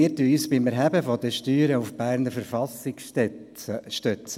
Wir stützen uns beim Erheben von Steuern auf die Verfassung des Kantons Bern (KV).